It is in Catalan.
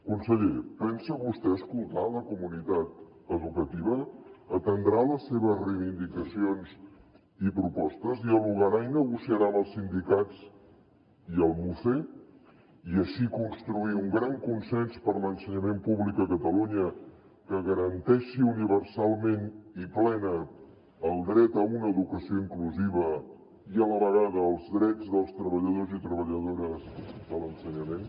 conseller pensa vostè escoltar la comunitat educativa atendrà les seves reivindicacions i propostes dialogarà i negociarà amb els sindicats i el muce i així construir un gran consens per a l’ensenyament públic a catalunya que garanteixi universalment i plena el dret a una educació inclusiva i a la vegada els drets dels treballadors i treballadores de l’ensenyament